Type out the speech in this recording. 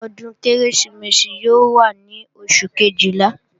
Ọdún Kérésìmesì yóò wá ní Oṣù Kejìlá